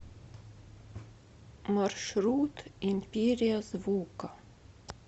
маршрут империя звука